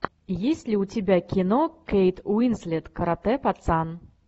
есть ли у тебя кино кейт уинслет каратэ пацан